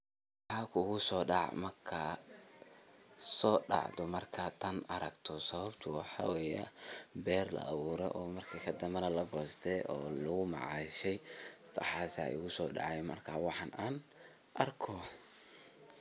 Maxa kuso daac marka so dacdho marka tan aragto, sababta waxa weye beer la abuure marki danbe na la goste oo lagu macashe waxas igu dace markas waxaan an arko.